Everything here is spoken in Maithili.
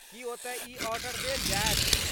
की, ओतय ई आर्डर देल जायत।